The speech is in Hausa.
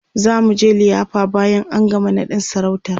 zamuje liyafa bayan an gama naɗin sarautar